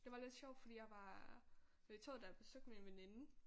Det var lidt sjovt fordi jeg var med toget da jeg besøgte min veninde